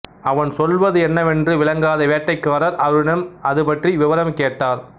அவன் சொல்வது என்னவென்று விளங்காத வேட்டைக்காரர் அவனிடம் அதுபற்றி விவரம் கேட்டார்